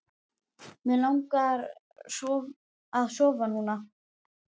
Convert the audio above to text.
Mig langar að sofna núna.